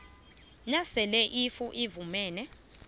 nasele iuif ifumene